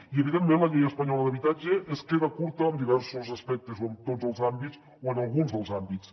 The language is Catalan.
i evidentment la llei espanyola d’habitatge es queda curta en diversos aspectes o en tots els àmbits o en alguns dels àmbits